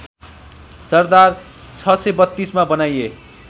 सरदार ६३२ मा बनाइए